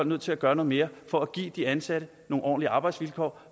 nødt til at gøre noget mere for at give de ansatte nogle ordentlige arbejdsvilkår